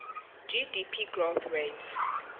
gdp growth rate